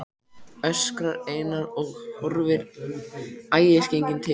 öskrar Einar og horfir æðisgenginn til